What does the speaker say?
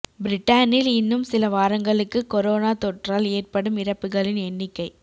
பிரிட்டனில் இன்னும் சில வாரங்களுக்கு கொரோனா தொற்றால் ஏற்படும் இறப்புகளின் எண்ணிக்கை